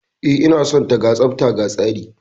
E, ina son ta. Ga tsafta ga tsari